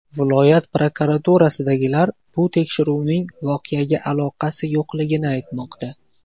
Viloyat prokuraturasidagilar bu tekshiruvning voqeaga aloqasi yo‘qligini aytmoqda.